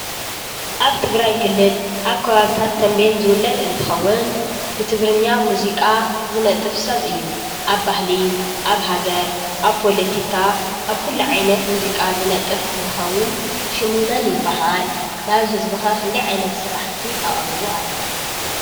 ኣብ ትግራይ ክልል ኣብ ከባቢታት ተንቤየን ዝውለድ እትኸውን ብትግርኛ ሙዚቃ ዝነጥፍ ሰብ እዩ። ኣብ ባህሊ ፣ ኣብ ሃገር ፣ኣብ ፖሎቲካ ኣብ ኩሉ ዓይነት ሙዚቃ ዝነጥፍ እንትኸውን ሽሙ መን ይበሃል ? ናብ ህዝቢ ከ ክንዳይ ዓይነት ስራሕቲ ኣቅሪቡ ኣሎ ?